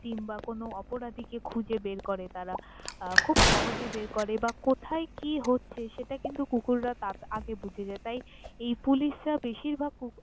তিম বা কোনও অপরাধী কে খুজে বের করে তারা আহ খুব সহজে বের করে বা কোথাই কি হচ্ছে সেটা কিন্তু কুকুররা তা আগে বুঝে যায়, তাই এই পুলিশরা বেশিরভাগ কুকুর।